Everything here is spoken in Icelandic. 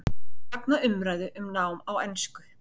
Fagna umræðu um nám á ensku